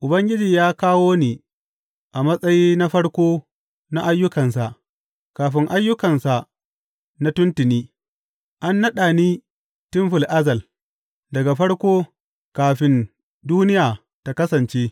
Ubangiji ya kawo ni a matsayi na farko na ayyukansa, kafin ayyukansa na tuntuni; an naɗa ni tun fil azal, daga farko, kafin duniya ta kasance.